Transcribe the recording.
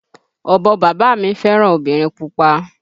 Ọ̀bọ bàbá mi fẹ́ràn obìnrin pupa